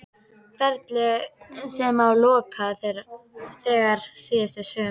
Ferli sem ég lokaði þegar síðasta sumar?